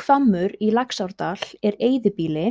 Hvammur í Laxárdal er eyðibýli,